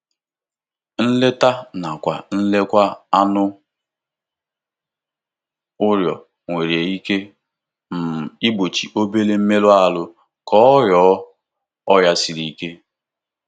Nleta nakwa nlekwa anụ ụlọ nwere ike um igbochi obere mmerụ ahụ ka ọ ghọọ ọrịa siri ike.